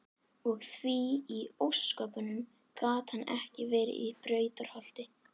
Og því í ósköpunum gat hann ekki verið í Brautarholti?